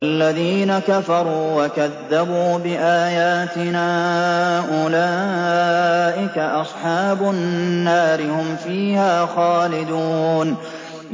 وَالَّذِينَ كَفَرُوا وَكَذَّبُوا بِآيَاتِنَا أُولَٰئِكَ أَصْحَابُ النَّارِ ۖ هُمْ فِيهَا خَالِدُونَ